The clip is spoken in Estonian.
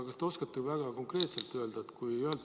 Kas te oskate väga konkreetselt öelda sellist asja.